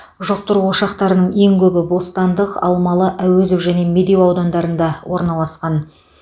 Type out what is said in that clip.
жұқтыру ошақтарының ең көбі бостандық алмалы әуезов және медеу аудандарында орналасқан